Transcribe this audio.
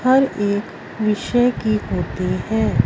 हर एक विषय की होती है।